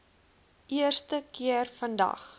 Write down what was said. eerste keer vandag